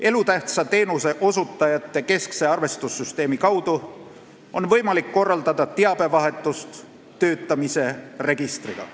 Elutähtsa teenuse osutajate keskse arvestussüsteemi kaudu on võimalik korraldada teabevahetust töötamise registriga.